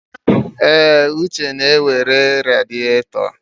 Èé, Uche na-ere radịatọ.